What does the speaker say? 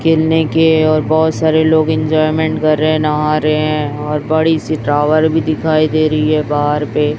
खेलने के और बहोत सारे लोग एंजॉयमेंट कर रहे है नहा रहे हैं और बड़ी सी टावर भी दिखाई दे रही है बाहर पे --